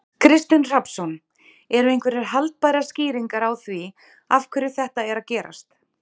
Kristinn Hrafnsson: Eru einhverjar haldbærar skýringar á því af hverju þetta er að gerast?